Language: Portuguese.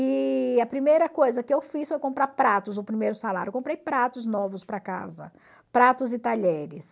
E a primeira coisa que eu fiz foi comprar pratos, o primeiro salário, eu comprei pratos novos para casa, pratos e talheres.